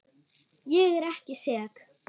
Ég er ekki sek.